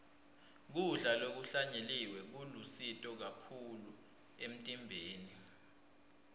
kudla lokuhlanyeliwe kulusito kakhulu emtimbeni